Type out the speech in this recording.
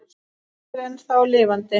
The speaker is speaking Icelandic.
Er Leiknir ennþá lifandi?